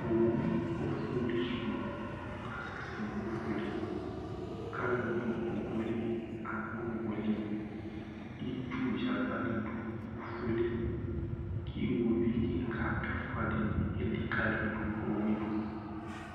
Owu ɔfuli su kasɛsɛ nʋ ɔfuli kʋ alu du owʋ ye li Abʋ nʋ owu ye li Itsu vi ava ni du ɔfu yɛ li kʋ ʋwovi kìka dìní ɛfʋa dìní elikali du owu ye tu